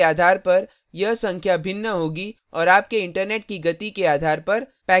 आपके system के आधार पर यह संख्या भिन्न होगी और आपके इंटरनेट की गति के आधार पर